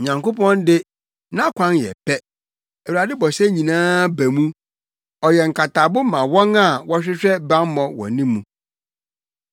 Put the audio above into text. Onyankopɔn de, nʼakwan yɛ pɛ; Awurade bɔhyɛ nyinaa ba mu. Ɔyɛ nkatabo ma wɔn a wɔhwehwɛ bammɔ wɔ ne mu.